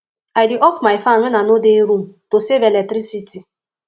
i dey off my fan when i no dey room to save electricity